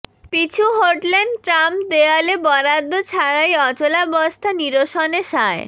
পিছু হটলেন ট্রাম্প দেয়ালে বরাদ্দ ছাড়াই অচলাবস্থা নিরসনে সায়